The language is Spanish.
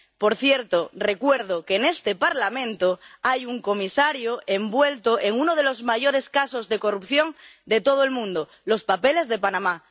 Por cierto, recuerdo que en este Parlamento hay un comisario involucrado en uno de los mayores casos de corrupción de todo el mundo los papeles de Panamá.